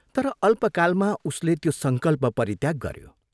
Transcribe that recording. तर अल्पकालमा उसले त्यो संकल्प परित्याग गऱ्यो।